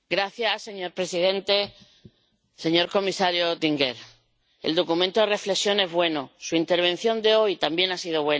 Señor presidente, señor comisario Oettinger, el documento de reflexión es bueno, su intervención de hoy también ha sido buena.